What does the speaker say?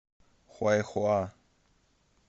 хуайхуа